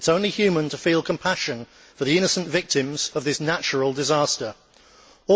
It is only human to feel compassion for the innocent victims of the natural disaster there.